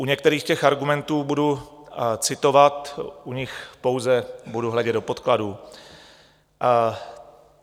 U některých těch argumentů budu citovat, u nich pouze budu hledět do podkladů.